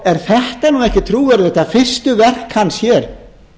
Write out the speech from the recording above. er þetta nú ekki trúverðugt að fyrstu verk hans hér